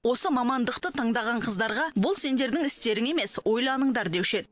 осы мамандықты таңдаған қыздарға бұл сендердің істерің емес ойланыңдар деуші еді